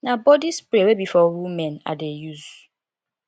na body spray wey be for women i dey use